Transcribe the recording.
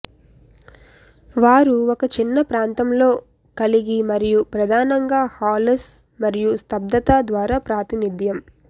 వారు ఒక చిన్న ప్రాంతంలో కలిగి మరియు ప్రధానంగా హాలోస్ మరియు స్తబ్దత ద్వారా ప్రాతినిధ్యం